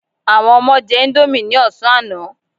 Àwọn ọmọ jẹ índómì ní ọ̀sán àná.